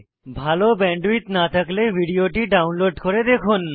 ভাল ব্যান্ডউইডথ না থাকলে ভিডিওটি ডাউনলোড করে দেখুন